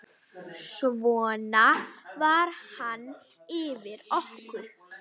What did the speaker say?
Svona var hann fyrir okkur.